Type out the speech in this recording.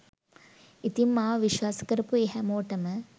ඉතින් මාව විශ්වාස කරපු ඒ හැමෝටම